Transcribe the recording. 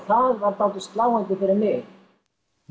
það var dálítið sláandi fyrir mig